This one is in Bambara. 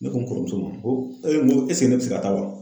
Ne ko n kɔrɔmuso ma, n ko ne bi se ka taa wa ?